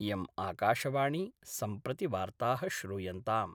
इयम् आकाशवाणी सम्प्रति वार्ता: श्रूयन्ताम्